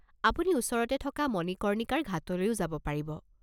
আপুনি ওচৰতে থকা মণিকৰ্ণিকাৰ ঘাটলৈও যাব পাৰিব।